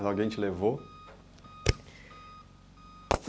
Alguém te levou?